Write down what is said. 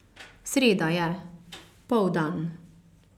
Sreda je, poldan.